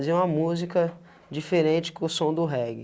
uma música diferente que o som do reggae.